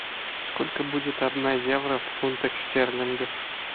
сколько будет одна евро в фунтах стерлингах